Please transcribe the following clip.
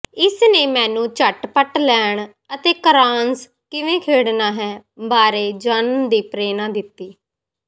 ਇਸ ਨੇ ਮੈਨੂੰ ਝਟਪਟ ਲੈਣ ਅਤੇ ਕ੍ਰਾਂਸ ਕਿਵੇਂ ਖੇਡਣਾ ਹੈ ਬਾਰੇ ਜਾਣਨ ਦੀ ਪ੍ਰੇਰਣਾ ਦਿੱਤੀ